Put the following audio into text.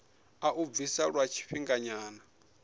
a u bvisa lwa tshifhinganyana